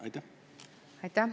Aitäh!